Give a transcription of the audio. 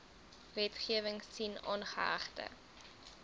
wetgewing sien aangehegte